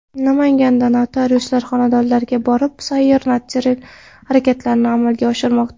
Namanganda notariuslar xonadonlarga borib sayyor notarial harakatlarni amalga oshirmoqda .